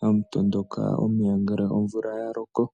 hamu tondoka omeya, ngele omvula ya loko.